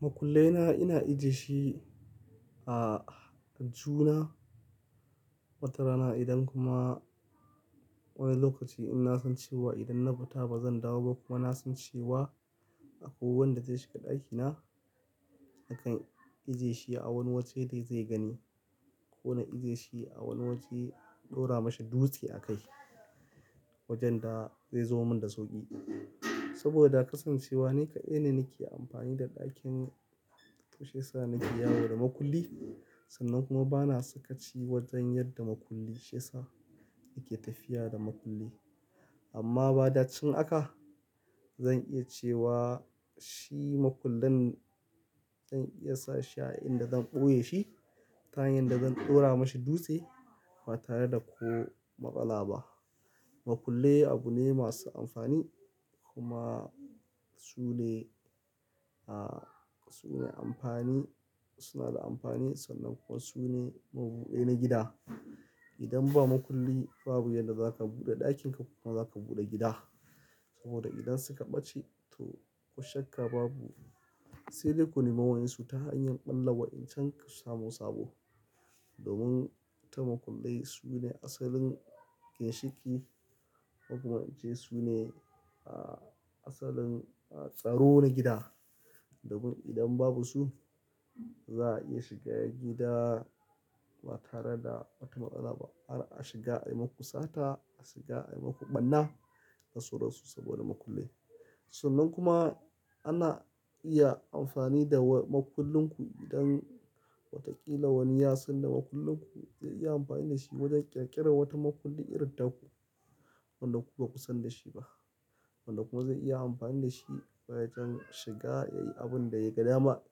Makullaina ina ajiye shi a aljihuna wata rana idan kuma wani lokaci ina san cewa idan na fita ba zan dawo ba kuma ina san cewa akwai wanda zai shiga ɗakina. Nakan ajiye shi a wani waje da zai gani ko na ajie shi a wani waje, ɗora mashi dutse a kai wajen da zai zamo min da soƙi. Saboda kasancewa ni kaɗai ne nake amfani da ɗakin toshe yasa nake yawo da makulli sannan kuma bana saka ci wajen yadda makulli shiyasa nake tafiya da makulli. Amma ba dacin haka zan iya cewa shi makullin zan iya sashi a inda zan ɓoye shi ta hanyar da zan ɗora mashi dutse ba tare da ko matsala ba. Makulli abu ne masu amfani kuma su ne, su ne amfani, suna da amfani sannan kuma su ne mabuɗi na gida. Idan ba makulli babu yadda za ka buɗe ɗakin ka kuma za ka buɗe gida. Saboda idan suka ɓace to ko shakka babu. Sai dai kunima waninsu ta hanyar ɓalla wa in can ka samu sabo. Domin ta makullai su ne asalin ginshiki kuma in ce su ne asalin tsaro na gida. Domin idan babu su ba za a iya shiga gida ba tare da wata maƙala ba. Har a shiga maimaku sata, a shiga maimaku ɓarna, kasuwar su saboda makulli. Sannan kuma ana iya amfani da makullin ku idan watakila wani yasan da makullin ku zai iya amfani da shi wajen ƙirƙirar wata makulli irin ta ku wanda ku baku san da shi ba. Wanda kuma zai iya amfani da shi wayarin shiga yayi abun da ya ga dama.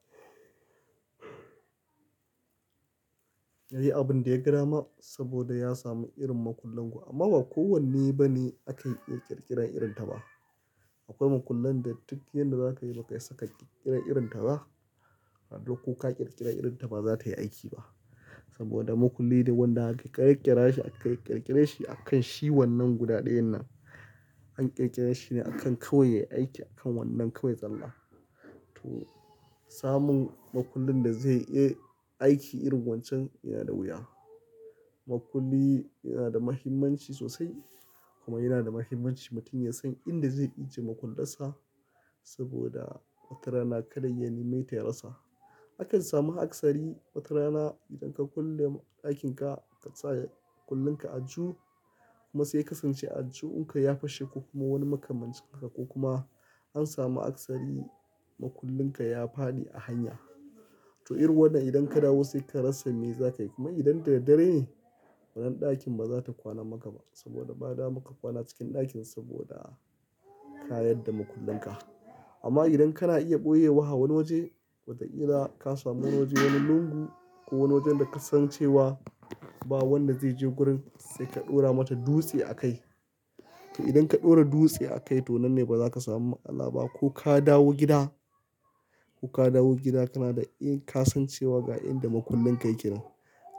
Yayi abun da ya ga dama saboda ya samu irin makullin ku. Amma ba kowanne bane aka iya ƙirƙirar irin ta ba. Akwai makullan da duk yadda za ka yi ba ka isa ka ƙirƙira irin ta ba. Sannan ko ka ƙirƙira irin ta ba za ta yi aiki ba. Saboda makulli dai wanda aka ƙirƙira shi aka ƙirƙire shi akan shi wannan guda ɗayan nan. An ƙirƙire shi ne akan kawai yayi aiki akan wannan kawai tsalla. To samun makullin da zai iya aiki irin wancan yana da wuya. Makulli yana da muhimmanci sosai kuma yana da muhimmanci mutum ya san inda zai ajiye makullansa saboda wata rana kaɗa ya neme ta ya rasa. Akan samu akasari wata rana idan ka kulle ɗakin ka ka saya makullin ka a aju kuma sai ka sanshi ajunku ya fashe ko kuma wani makamancin ka ko kuma an samu akasari makullin ka ya faɗi a hanya. To irin wannan idan ka dawo sai ka rasa me za ka yi kuma idan dare dare ne wannan ɗakin ba za ta kwana maka ba saboda ba da ma ka kwana cikin ɗakin saboda ka yadda makullin ka. Amma idan kana iya ɓoye wa wani waje, watakila ka samu wani waje, wani lungu ko wani wajen da ka san cewa ba wanda zai je gurin sai ka ɗora mata dutse a kai. To idan ka ɗora dutse a kai to nan ne ba za ka samu matsala ba ko ka dawo gida, ko ka dawo gida kana da ƙasan cewa ga inda makullin ka yake nan.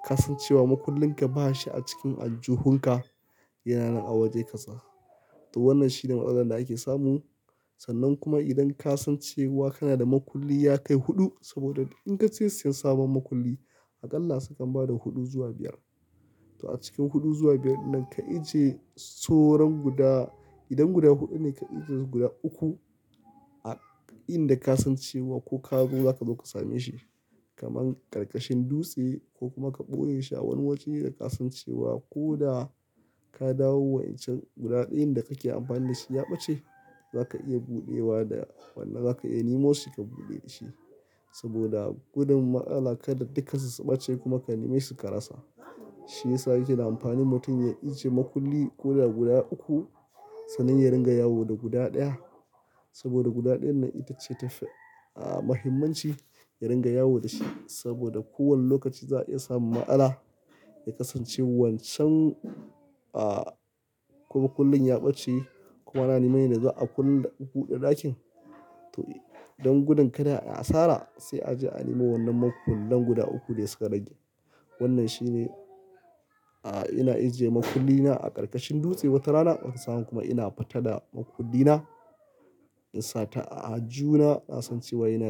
Ka san cewa makullin ka ba shi a cikin aljuhun ka yana nan a waje kaza. To wannan shine maƙalan da ake samu sannan kuma idan ka san cewa kana da makulli ya kai huɗu saboda in ka je siyan sabon makulli aƙalla su kan ba da huɗu zuwa biyar. To a cikin huɗu zuwa biyar nan ka ajiye soran guda, idan guda huɗu ne ka ajie guda uku a inda ka san cewa ko ka zo za ka zo ka same shi. Kaman karkashin dutse ko kuma ka ɓoye shi a wani waje da ka san cewa ko da ka dawo wancan guda ɗayan da kake amfani da shi ya ɓace za ka iya buɗewa da wannan za ka iya nemo shi ka buɗe da shi. Saboda gudun matsala kaɗai duka su ɓace kuma ka neme su ka rasa. Shi yasa yake da amfani mutum ya ajiye makulli ko da guda uku sannan ya ringa yawo da guda ɗaya. Saboda guda ɗayan nan ita ce ta fi a, muhimmanci ya ringa yawo da shi. Saboda kowane lokaci za a iya samun matsala ya kasance wancan a, ko makullin ya ɓace kuma ana neme da ga a kulle da buɗe ɗakin. To don gudun kada ya asara sai a je a nemo wannan makullan guda uku da suka rage. Wannan shine a, ina ajiye makulli na a karkashin dutse wata rana watan sa in kuma ina fata da makulli na in sata a aljihuna na san cewa yana nan.